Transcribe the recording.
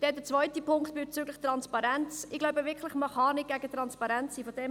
Der zweite Punkt betreffend Transparenz: Ich glaube wirklich, dass man nicht gegen Transparenz sein kann.